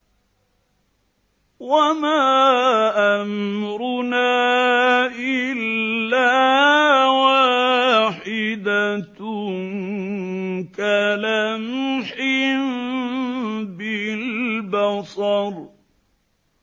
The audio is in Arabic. وَمَا أَمْرُنَا إِلَّا وَاحِدَةٌ كَلَمْحٍ بِالْبَصَرِ